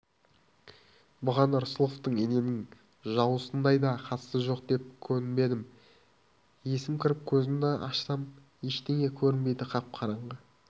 бұған рысқұловтың иненің жасуындай да қатысы жоқ деп көнбедім есім кіріп көзімді ашсам ештеңе көрінбейді қап-қараңғы